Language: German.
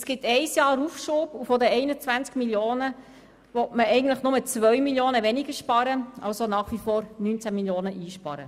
Es gibt einen Aufschub von einem Jahr und von diesen 21 Mio. Franken will man nur 2 Mio. Franken weniger sparen, also nach wie vor 19 Mio. Franken.